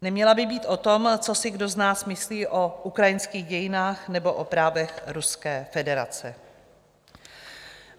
Neměla by být o tom, co si kdo z nás myslí o ukrajinských dějinách nebo o právech Ruské federace.